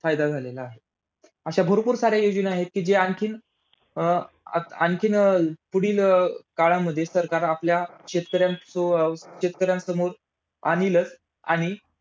फायदा झालेला आहे. अशा भरपूर साऱ्या योजना आहेत कि, जे आणखीन अं आणखीन अं पुढील अं काळामध्ये सरकार आपल्या शेतकऱ्यांस शेतकऱ्यांसमोर आणलीच आणि